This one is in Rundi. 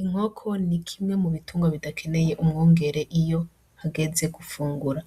Inkoko n'ikimwe m'ubitungwa bidakeneye umwungere iyo hageze gufungura,